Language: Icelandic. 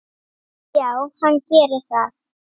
Já, hann gerir það